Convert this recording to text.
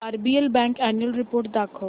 RBL bank annual report दाखव